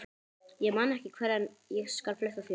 Ég man ekki hvar en ég skal fletta því upp.